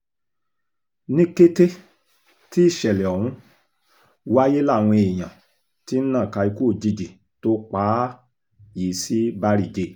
ní kété tí ìṣẹ̀lẹ̀ ọ̀hún wáyé làwọn èèyàn ti ń nàka ikú òjijì tó pa á yìí sí barry jhay